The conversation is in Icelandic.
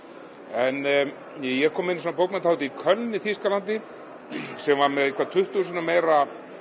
en ég kom einu sinni á bókmenntahátíð í Köln í Þýskalandi sem var með um tuttugu sinnum meira